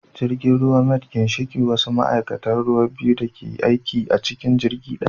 Jirgin ruwa mate ginshiki wasu ma'aikatan ruwa biyu ne da ke aiki a cikin jirgi daya